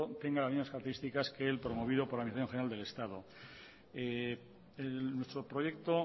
tenga las mismas características que el promovido por la administración general del estado nuestro proyecto